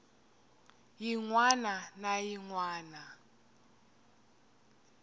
yin wana na yin wana